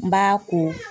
N b'a ko